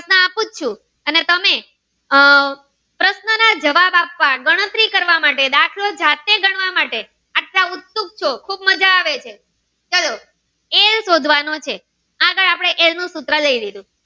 પૂછું ચુ અને તમે આહ પરેશાન ના જવાબ આપવા ગણતરી કરવા માટે કે દાખલો જાતે ગણવા માટે એટલા ઉત્સુક ચો ખુબ માજા આવે છે સરસ એ સોધવાનુઁ છે આગળ આપણે એ નું સૂત્ર લઇ લીધું